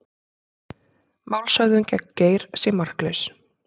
Málshöfðun gegn Geir sé marklaus